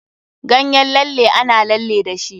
Ganyen lalle ana lalle dashi.